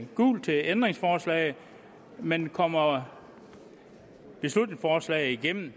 gult til ændringsforslaget men kommer beslutningsforslaget igennem